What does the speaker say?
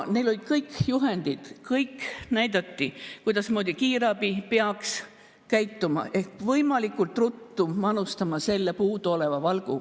Neil olid kõik juhendid, näidati, kuidas kiirabi peaks käituma, ehk võimalikult ruttu oleks tulnud manustada see puuduolev valk.